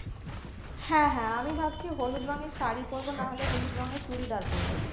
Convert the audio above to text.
হ্যাঁ হ্যাঁ আমি ভাবছি হলুদ রঙের শাড়ি পরবো নাহলে হলুদ রঙের চুড়িদার পরবো